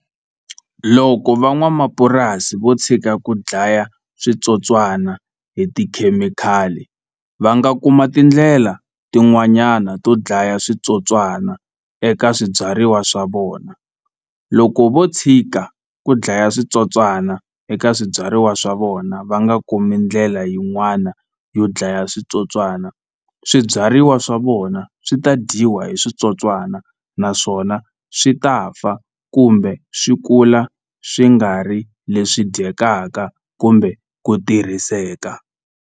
Loko van'wamapurasi vo tshika ku dlaya switsotswana hi tikhemikhali va nga kuma tindlela tin'wanyana to dlaya switsotswana eka swibyariwa swa vona loko vo tshika ku dlaya switsotswana eka swibyariwa swa vona va nga kumi ndlela yin'wana yo dlaya switsotswana swibyariwa swa vona swi ta dyiwa hi switsotswani naswona swi ta fa kumbe swi kula swi nga ri leswi dyekaka kumbe ku tirhiseka.